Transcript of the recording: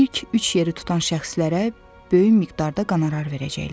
İlk üç yeri tutan şəxslərə böyük miqdarda qonorar verəcəklər.